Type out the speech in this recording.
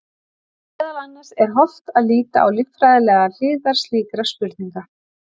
Meðal annars er hollt að líta á líffræðilegar hliðar slíkra spurninga.